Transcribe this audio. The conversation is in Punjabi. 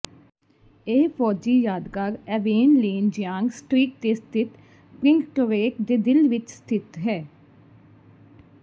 ਇਹ ਫੌਜੀ ਯਾਦਗਾਰ ਐਵੇਨ ਲੇਨ ਜਿਆਂਗ ਸਟ੍ਰੀਟ ਤੇ ਸਥਿਤ ਪ੍ਰਿੰਕਟੋਰੇਟ ਦੇ ਦਿਲ ਵਿੱਚ ਸਥਿਤ ਹੈ